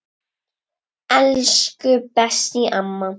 Elsku Bessý amma.